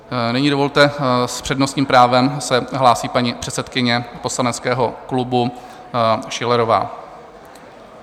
Nyní dovolte, s přednostním právem se hlásí paní předsedkyně poslaneckého klubu Schillerová.